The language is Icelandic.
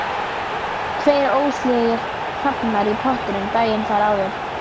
Tveir ólseigir hrafnar í pottinum daginn þar áður.